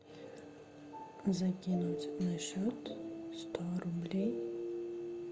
закинуть на счет сто рублей